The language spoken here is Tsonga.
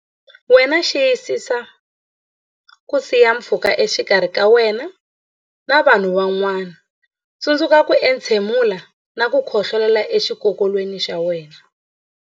Wena Xiyisisa ku siya pfhuka exikarhi ka wena na vanhu van'wana Tsundzuka ku entshemula na ku khohlolela exikokolweni xa wena.